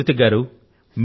సరే కృతికా గారు